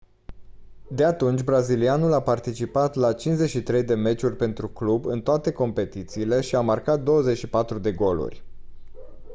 de atunci brazilianul a participat la 53 de meciuri pentru club în toate competițiile și a marcat 24 de goluri